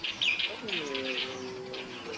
Lágt viðnám vísar oft á jarðhita